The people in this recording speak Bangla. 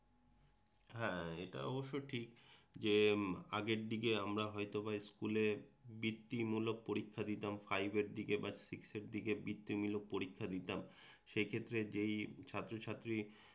হ্যাঁ এটা অবশ্য ঠিক যে আগের দিকে আমরা হয়তোবা স্কুলে বিত্তি মূলক পরীক্ষা দিতাম ফাইভের দিকে বা সিক্সের দিকে বিত্তি মূলক পরীক্ষা দিতাম, সেই ক্ষেত্রে যেই ছাত্রছাত্রী